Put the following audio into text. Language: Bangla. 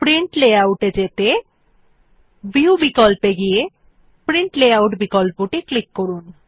প্রিন্ট লেআউট এ যেতে ভিউ বিকল্পে গিয়ে প্রিন্ট লেআউট বিকল্পে ক্লিক করুন